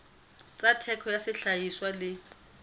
tsa theko ya sehlahiswa le